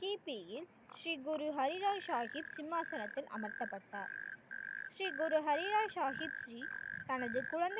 கிபியில் ஸ்ரீ குரு ஹரிராஜ் சாகிப் சிம்மாசனத்தில் அமர்த்தப்பட்டார் ஸ்ரீ குரு ஹரிரா சாகிப் ஸ்ரீ, தனது குழந்தையின்